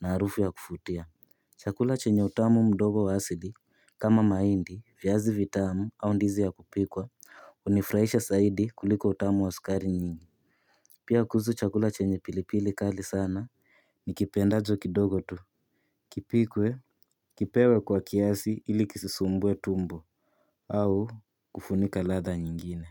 na harufu ya kufutia. Chakula chenye utamu mdogo wa asili kama mahindi viazi vitamu au ndizi ya kupikwa unifrahisha saidi kuliko utamu wa sukari nyingi. Pia kuhuzu chakula chenye pilipili kali sana nikipendacho kidogo tu. Kipikwe. Kipewe kwa kiasi ili kisisumbue tumbo au kufunika ladha nyingine.